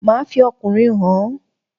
Máà fi ọkùnrin hàn ọ́